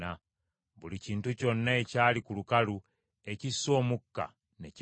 Buli kintu kyonna ekyali ku lukalu ekissa omukka ne kifa.